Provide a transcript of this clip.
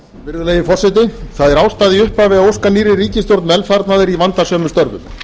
virðulegi forseti það er ástæða í upphafi að óska nýrri ríkisstjórn velfarnaðar í vandasömum störfum